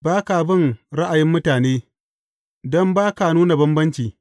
Ba ka bin ra’ayin mutane, don ba ka nuna bambanci.